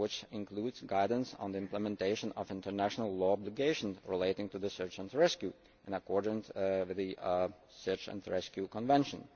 This decision includes guidance on the implementation of international law obligations relating to search and rescue, in accordance with the Search and Rescue Convention.